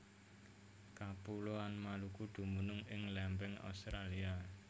Kapuloan Maluku dumunung ing lempeng Australia